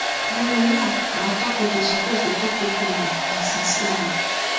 gonorrhea na topic we suppose dey talk openly and sincerely